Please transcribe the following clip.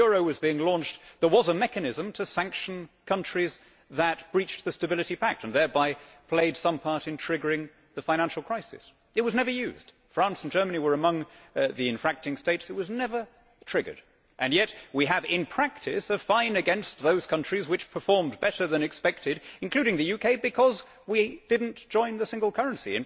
When the euro was being launched, there was a mechanism to sanction countries that breached the Stability Pact and thereby played some part in triggering the financial crisis. It was never used. France and Germany were among the infracting states. It was never triggered, and yet we have in practice a fine against those countries which performed better than expected including the UK, because we did not join the single currency.